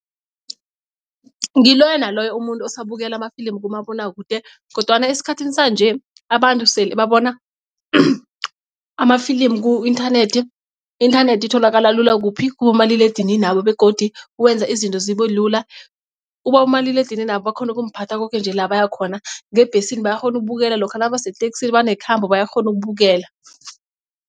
Ngiloyo naloyo umuntu osabukela amafilimu kumabonakude kodwana esikhathini sanje abantu sele babona amafilimu ku-inthanethi. I-inthanethi itholakala lula kuphi kubomaliledinini babo begodu kwenza izinto zibe lula. Ubabomaliledininabo bakhona ukumphatha koke nje la baya khona. Ngebhesini bayakghona ukubukela lokha nabaseteksini banekhambo bayakghona ukubukela.